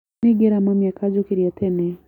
Nĩngera mami akanjũkĩria tene